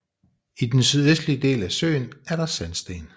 I den sydøstlige del af søen er der sandsten